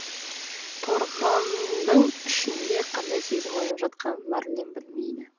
торғындың ішінде қандай сезім оянып жатқанын мәрлен білмейді